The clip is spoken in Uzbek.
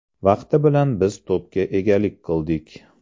Vaqti bilan biz to‘pga egalik qildik.